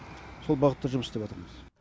сол бағытта жұмыс істеватырмыз